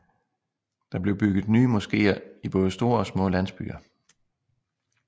Der blev bygget nye moskeer i både store byer og landsbyer